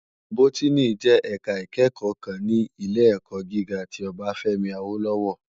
Bótìní jè èká ikèékò kán ni ilé èkò gigá ti Obafemi Awolowo